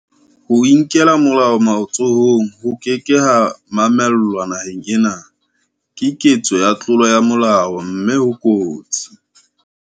Ho inkela molao matsohong ho ke ke ha mamellwa naheng ena, Ke ketso ya tlolo ya molao mme ho kotsi.